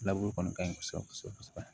kɔni ka ɲi kosɛbɛ kosɛbɛ